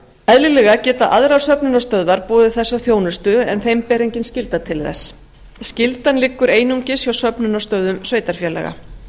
eðlilega geta aðrar söfnunarstöðvar boðið þessa þjónustu en þeim ber engin skylda til þess skyldan liggur einungis hjá söfnunarstöðvum sveitarfélaga